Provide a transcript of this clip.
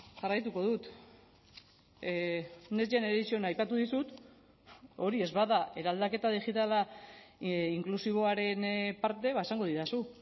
jarraituko dut next generation aipatu dizut hori ez bada eraldaketa digitala inklusiboaren parte ba esango didazu